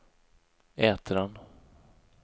Ätran